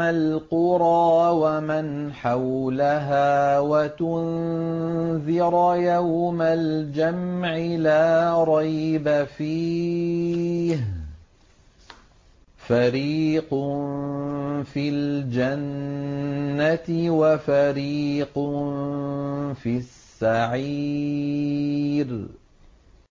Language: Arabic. الْقُرَىٰ وَمَنْ حَوْلَهَا وَتُنذِرَ يَوْمَ الْجَمْعِ لَا رَيْبَ فِيهِ ۚ فَرِيقٌ فِي الْجَنَّةِ وَفَرِيقٌ فِي السَّعِيرِ